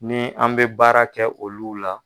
Ni an bɛ baara kɛ olulu la.